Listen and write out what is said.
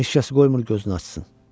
Heç kəs qoymur gözünü açsın.